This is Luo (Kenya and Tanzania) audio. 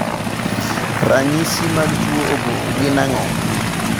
Ranyisi mag tuo obo gin ang'o?